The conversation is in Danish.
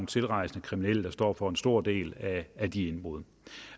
tilrejsende kriminelle står for en stor del af de indbrud